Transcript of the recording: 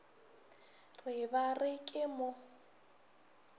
re ba re ke mo